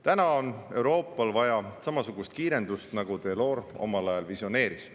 Täna on Euroopal vaja samasugust kiirendust, nagu Delors omal ajal visioneeris.